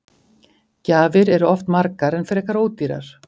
Gjafir eru oft margar en frekar ódýrar.